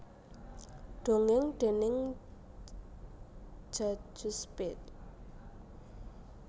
Dongèng déning Djajus Pete